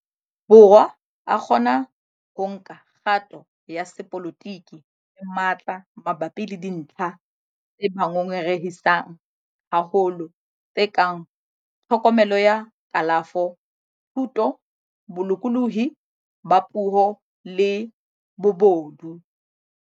Borwa a kgona ho nka kgato ya sepolotiki ka matla mabapi le dintlha tse ba ngongorehisang haholo, tse kang tlhokomelo ya kalafo, thuto, bolokolohi ba puo le bobodu.